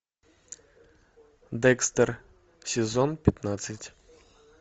декстер сезон пятнадцать